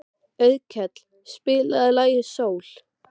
Auðkell, spilaðu lagið „Sól“.